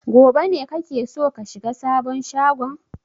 Gobe ne kake so ka shiga sabon shagon?